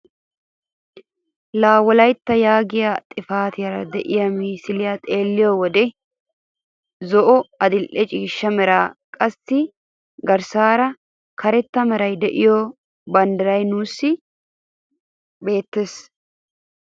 La'a wolaytta yaagiyaa xifatiyaara de'iyaa misiliyaa xeelliyoo wode zo'o, adil'e ciishsha meranne qassi garssaara karetta meraara de'iyaa banddiraay nuusi beettees.